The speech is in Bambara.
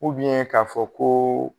ka fɔ koo